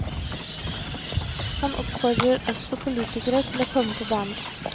Han oppfordrer også politikere til å komme på banen.